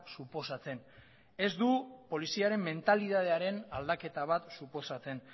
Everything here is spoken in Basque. suposatzen ez du poliziaren mentalitatearen aldaketa bat suposatzen